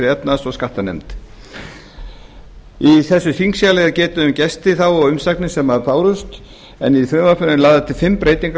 efnahags og skattanefnd í þessu þingskjali er getið um gesti þá og umsagnir sem bárust en í frumvarpinu eru lagðar til fimm breytingar